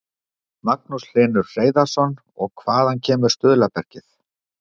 Magnús Hlynur Hreiðarsson: Og hvaða kemur stuðlabergið?